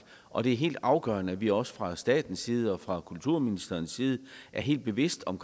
og det er helt afgørende at vi også fra statens side og fra kulturministerens side er helt bevidste om